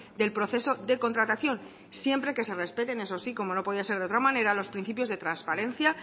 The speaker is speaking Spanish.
del proceso de contratación siempre que se respeten eso sí como no podía ser de otra manera los principios de transparencia